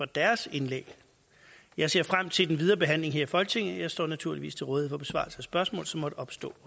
deres indlæg jeg ser frem til den videre behandling her i folketinget jeg står naturligvis til rådighed for besvarelse af spørgsmål som måtte opstå